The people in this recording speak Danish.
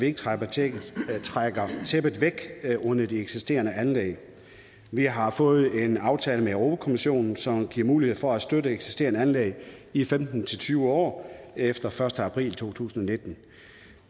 ikke trækker tæppet trækker tæppet væk under de eksisterende anlæg vi har fået en aftale med europa kommissionen som giver mulighed for at støtte eksisterende anlæg i femten til tyve år efter den første april to tusind og nitten